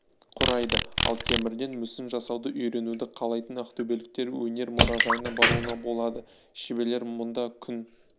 құрайды ал темірден мүсін жасауды үйренуді қалайтын ақтөбеліктер өнер мұражайына баруына болады шеберлер мұнда күн